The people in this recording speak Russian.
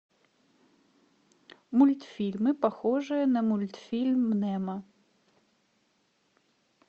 мультфильмы похожие на мультфильм немо